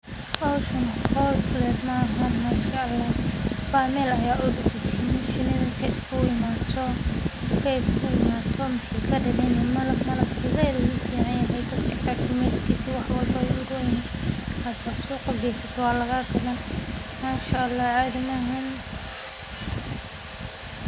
Howshan hool fudeyd maha wa meel lo disaay shini shini ay isugu imaado marka ay isugu imaado waxay kadigani malab, malabka zaid u ficanyahay malabka waxwalbo u uronyahay. Hada suuqa geysato walaga gadan Mashaallah cadi mahan.